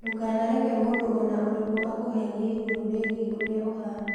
Ndũkanareke mũndũ o na ũrĩkũ akũheenie igũrũ rĩgiĩ ũrĩa ũhaana.